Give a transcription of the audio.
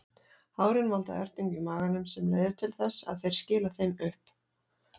Hárin valda ertingu í maganum sem leiðir til þess að þeir skila þeim upp.